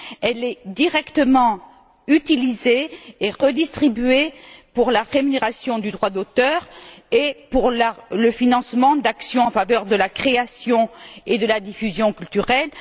elle est directement utilisée et redistribuée pour la rémunération du droit d'auteur et pour le financement d'actions en faveur de la création et de la diffusion culturelle.